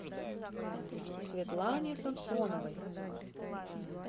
светлане самсоновой